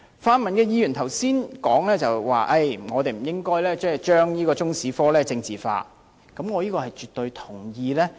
泛民議員剛才提到不應該將中史科政治化，這點我絕對同意。